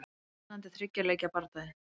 Spennandi þriggja leikja bardagi.